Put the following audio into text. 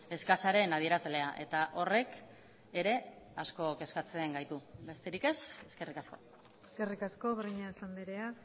eskasaren adierazlea eta horrek ere asko kezkatzen gaitu besterik ez eskerrik asko eskerrik asko breñas andrea